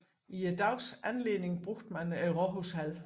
I dagens anledning brugte man Rådhushallen